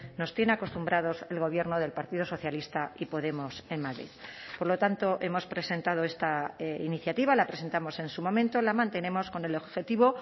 nos tiene acostumbrados el gobierno del partido socialista y podemos en madrid por lo tanto hemos presentado esta iniciativa la presentamos en su momento la mantenemos con el objetivo